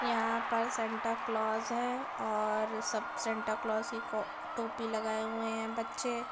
यहा पर Santa Claus हे और सब सेंटाक्लॉस की को टोपी लगाए हुए हें बच्चे |